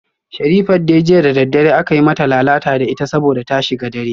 Sherifat dai jiya da daddare aka yi mata lalata da ita saboda ta shiga dare